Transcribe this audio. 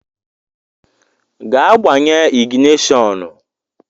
Gaa gbanye ịgịnịshọnụ!